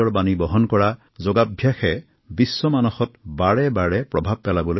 সমাজৰ একতা আৰু সম্প্ৰীতিৰ মাধ্যম যোগাই এতিয়া সমগ্ৰ বিশ্বক সাঙুৰি লৈছে